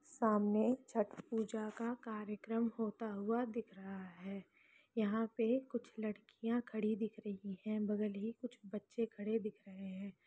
सामने छठ पूजा का कार्यक्रम होता हुआ दिख रहा हैं यहाँ पे कुछ लड़कियां खड़ी दिख रही हैं बगल ही कुछ बच्चे खड़े दिख रहे हैं।